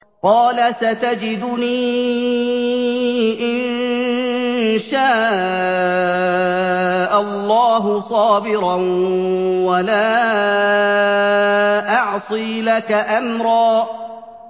قَالَ سَتَجِدُنِي إِن شَاءَ اللَّهُ صَابِرًا وَلَا أَعْصِي لَكَ أَمْرًا